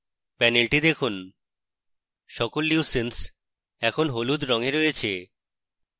panel the দেখুন সকল leucines এখন হলুদ রঙে রয়েছে